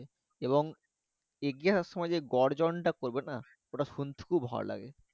এবং এগিয়ে আসার সময় গর্জন টা করবে না ওটা শুনতে খুব ভাল লাগে